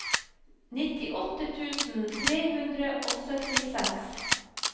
nittiåtte tusen tre hundre og syttiseks